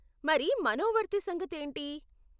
మరి మనోవర్తి సంగతేంటి?